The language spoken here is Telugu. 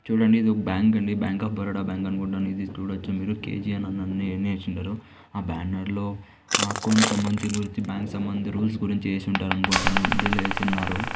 చూడండి ఇది ఒక బ్యాంక్ అండి బ్యాంక్ ఆఫ్ బరోడా బ్యాంక్ అనుకుంటాను ఇది చూడచ్చు మీరు కె_జి_ఎన్ అని ఉన్నయ్ అన్ని ఏసీ ఉన్నారు ఆ బ్యానర్ లో ఆ అకౌంటు సంబందిత గురుంచి బ్యాంక్ సంబందిత రూల్స్ గురుంచి ఏసి ఉంటారు అనుకుంటాను ఇది తెలియజేసున్నారు.